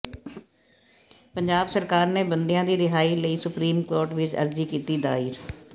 ਪੰਜਾਬ ਸਰਕਾਰ ਨੇ ਬੰਦੀਆਂ ਦੀ ਰਿਹਾਈ ਲਈ ਸੁਪਰੀਮ ਕੋਰਟ ਵਿੱਚ ਅਰਜ਼ੀ ਕੀਤੀ ਦਾਇਰ